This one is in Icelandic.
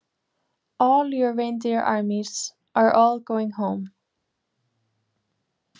All your reindeer armies, are all going home.